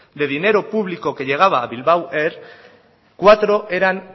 de dinero público que llegaba a bilbao air cuatro eran